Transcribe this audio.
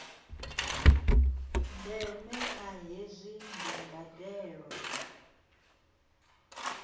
ndeme kha hezwi ndi mbandelo